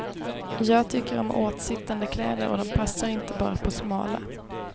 Jag tycker om åtsittande kläder och de passar inte bara på smala.